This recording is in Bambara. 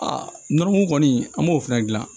Aa nɔrimo kɔni an b'o fɛnɛ gilan